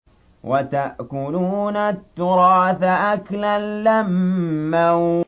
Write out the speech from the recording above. وَتَأْكُلُونَ التُّرَاثَ أَكْلًا لَّمًّا